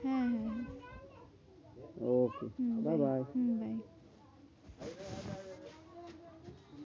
হ্যাঁ হ্যাঁ okay bye bye. Hmm bye.